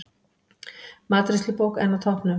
Matreiðslubók enn á toppnum